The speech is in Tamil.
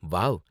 வாவ்.